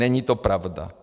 Není to pravda.